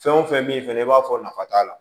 Fɛn o fɛn min fɛnɛ i b'a fɔ nafa t'a la